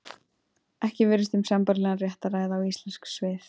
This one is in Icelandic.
Ekki virðist um sambærilegan rétt að ræða og íslensk svið.